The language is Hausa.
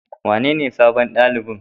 Wanene sabon ɗalibin?